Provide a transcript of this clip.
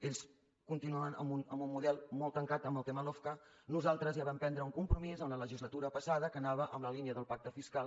ells continuen amb un model molt tancat en el tema lofca nosaltres ja vam prendre un compromís en la legislatura passada que anava en la línia del pacte fiscal